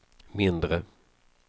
mindre